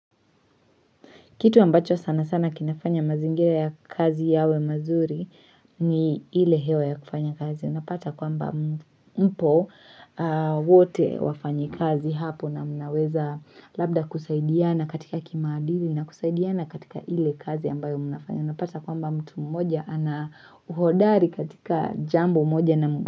Kitu ambacho sana sana kinafanya mazingira ya kazi yawe mazuri ni ile hewa ya kufanya kazi. Unapata kwamba mpo wote wafanyi kazi hapo na mnaweza labda kusaidiana katika kimaadili na kusaidiana katika ile kazi ambayo mnafanya. Unapata kwamba mtu mmoja ana uhodari katika jambo mmoja na mga.